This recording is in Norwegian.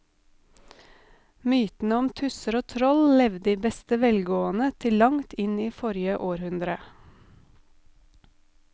Mytene om tusser og troll levde i beste velgående til langt inn i forrige århundre.